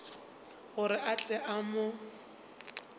gore a tle a mo